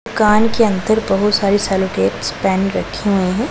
कान के अंदर बहोत सारी सेलो टेप्स पेन रखे हुए हैं।